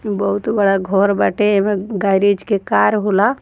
बहुत बड़ा घर बाटे एमे गैरेज के कार होला |